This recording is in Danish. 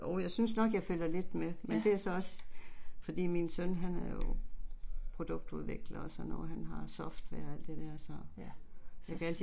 Ja. Ja, yes